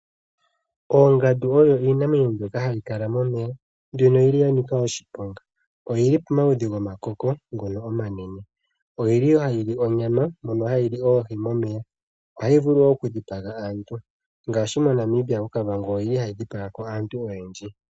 Oongandu odho iinamwenyo mbyoka hayi kala momeya, mbyono yili ya nika oshiponga. Oyili pomaludhi gomakoko ngono omanene. Oyili hayi lyi onyama, mpono hayi lyi oohi momeya. Ohayi vulu woo oku dhipaga aantu, ngaashi moNamibia koKavango oyili hayi dhipaga ko aantu oyendji.